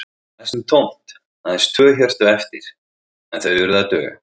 Það var næstum tómt, aðeins tvö hjörtu eftir, en þau urðu að duga.